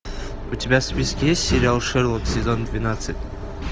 у тебя в списке есть сериал шерлок сезон двенадцать